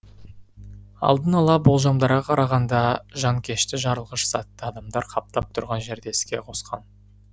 алдын ала болжамдарға қарағанда жанкешті жарылғыш затты адамдар қаптап тұрған жерде іске қосқан